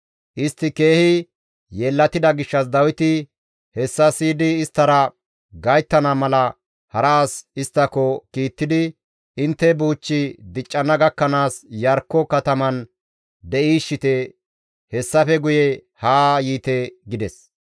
Istti keehi yeellatida gishshas Dawiti hessa siyidi isttara gayttana mala hara as isttako kiittidi, «Intte buuchchi diccana gakkanaas Iyarkko kataman de7iishshite; hessafe guye haa yiite» gides.